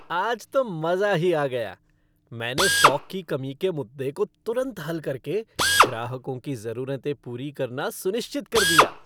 आज तो मज़ा ही आ गया मैंने स्टॉक की कमी के मुद्दे को तुरंत हल करके ग्राहकों की ज़रूरतें पूरी करना सुनिश्चित कर दिया!